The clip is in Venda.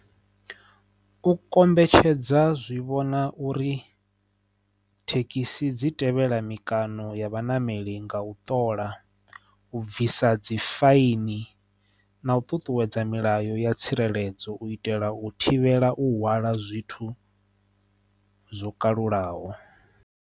U kombetshedza zwi vhona uri thekhisi dzi tevhela mikano ya vhanameli nga u ṱola u bvisa sa dzifaini na u ṱuṱuwedza milayo ya tsireledzo u itela u thivhela u hwala zwithu zwo kalulaho.